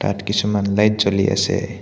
ইয়াত কিছুমান লাইট জ্বলি আছে।